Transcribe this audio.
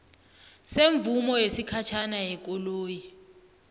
semvumo yesikhatjhana yekoloyi